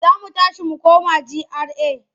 Za mu tashi mu koma GRA.